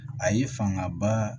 A ye fangaba